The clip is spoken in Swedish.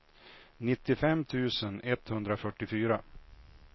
nittiofem tusen etthundrafyrtiofyra